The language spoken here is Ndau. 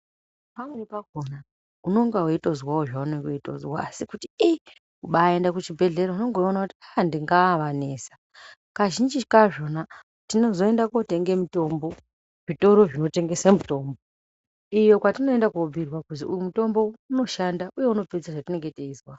Pamweni pakona unenge weitozwawo zvaunenge weitozwawo asi kuti iii kubaenda kuchi bhedhlera unenge weiona kuti ndingaavanesa kazhinji kazvona tinozoenda kotenga mutombo zvitoro zvinotengesa mitombo iyo kwatinoenda ko bhuyirwa kuti uyu mutombo unoshanda uye unopedza zvatinenge teizwa.